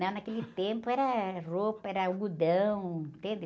Não, naquele tempo era roupa, era algodão, entende?